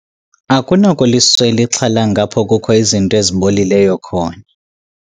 Akunakuliswela ixhalanga apho kukho izinto ezibolileyo khona.